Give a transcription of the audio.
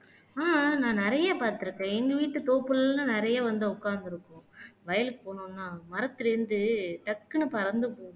ஆஹ் நான் நிறைய பாத்துருக்கேன் எங்க வீட்டு தோப்புல்லாம் நிறைய வந்து உக்காந்திருக்கும் வயலுக்கு போனோம்னா மரத்துல இருந்து டக்குனு பறந்து போகும்